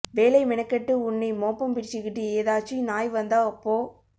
வேலை மெனக்கெட்டு உன்னை மோப்பம் பிடிச்சுக்கிட்டு ஏதாச்சும் நாய் வந்தா அப்போ